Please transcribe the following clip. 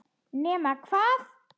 Nema hvað!?!